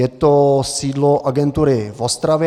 Je to sídlo agentury v Ostravě.